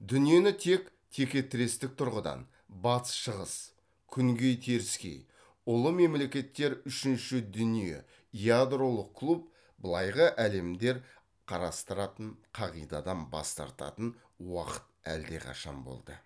дүниені тек текетірестік тұрғыдан батыс шығыс күнгей теріскей ұлы мемлекеттер үшінші дүние ядролық клуб былайғы әлемдер қарастыратын қағидадан бас тартатын уақыт әлдеқашан болды